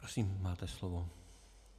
Prosím, máte slovo.